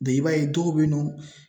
i b'a ye dɔw bɛ yen nɔ.